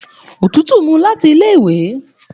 Òtútù mu láti ilé ìwé